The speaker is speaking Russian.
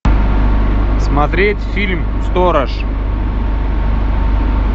смотреть фильм сторож